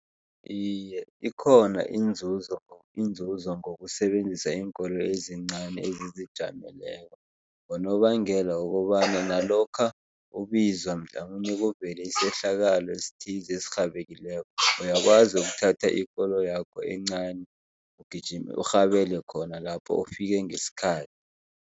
Iye, ikhona inzuzo inzuzo ngokusebenzisa iinkoloyi ezincani ezizijameleko ngonobangela wokobana nalokha ubizwa mhlamunye kuvele isehlakalo esithize esirhabileko, uyakwazi ukuthatha ikoloyakho encani ugijime, urhabele khona lapho ufike ngesikhathi.